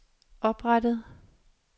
oprettet